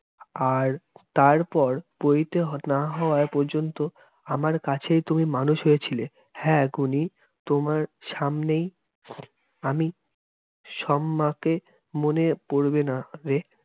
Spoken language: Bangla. আর তার পর পৈতে না হওয়া পর্যন্ত আমার কাছেই তুমি মানুষ হয়েছিলে। হ্যাঁ, গুণী, তোমার সামনেই, আমি সম্মাকে মনে পোরবেনা রে?